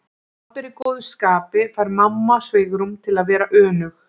Ef pabbi er í góðu skapi fær mamma svigrúm til að vera önug.